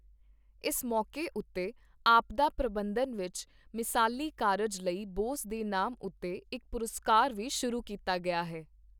ਇਸ ਮੌਕੇ ਉੱਤੇ ਆਪਦਾ ਪ੍ਰਬੰਧਨ ਵਿੱਚ ਮਿਸਾਲੀ ਕਾਰਜ ਲਈ ਬੋਸ ਦੇ ਨਾਮ ਉੱਤੇ ਇੱਕ ਪੁਰਸਕਾਰ ਵੀ ਸ਼ੁਰੂ ਕੀਤਾ ਗਿਆ ਹੈ।